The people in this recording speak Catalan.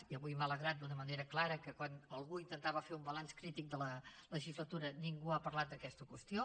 i avui m’ha alegrat d’una manera clara que quan algú intentava fer un balanç crític de la legislatura ningú hagués parlat d’aquesta qüestió